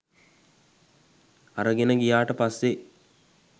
අරගෙන ගියාට පස්සේ